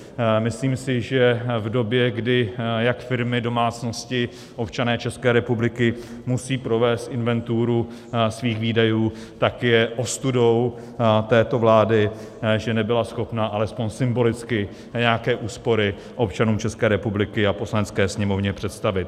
Myslím si, že v době, kdy jak firmy, domácnosti, občané České republiky musí provést inventuru svých výdajů, tak je ostudou této vlády, že nebyla schopna alespoň symbolicky nějaké úspory občanům České republiky a Poslanecké sněmovně představit.